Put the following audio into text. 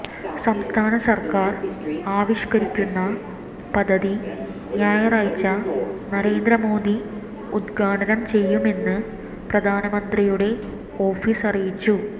സംസ്ഥാന സർക്കാർ ആവിഷ്കരിക്കുന്ന പദ്ധതി ഞായറാഴ്ച നരേന്ദ്ര മോദി ഉദ്ഘാടനം ചെയ്യുമെന്ന് പ്രധാനമന്ത്രിയുടെ ഓഫീസ് അറിയിച്ചു